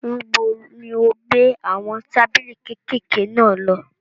Níbo ni ò ń gbé àwọn tábìlì kékèké náà lọ?